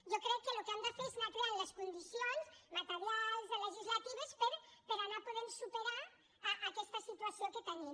jo crec que el que hem de fer és anar creant les condicions materials legislatives per anar podent superar aquesta situació que tenim